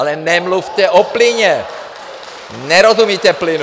Ale nemluvte o plynu, nerozumíte plynu.